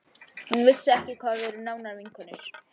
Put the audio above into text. Hún vissi ekki hvað við erum nánar vinkonur.